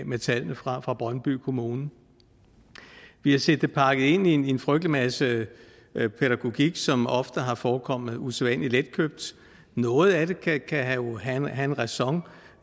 med tallene fra fra brøndby kommune vi har set det pakket ind i en frygtelig masse pædagogik som ofte har forekommet usædvanlig letkøbt noget af det kan jo have en ræson